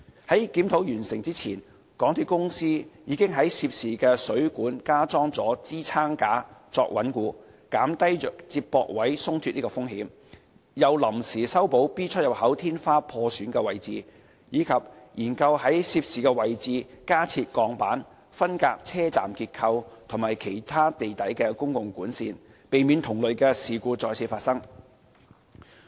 在檢討完成前，港鐵公司已在涉事水管加裝支撐架作穩固，減低接駁位鬆脫的風險，又臨時修補 B 出入口天花破損的位置，以及研究在涉事位置加設鋼板，分隔車站結構及其他地底公共管線，避免同類事故再次發生。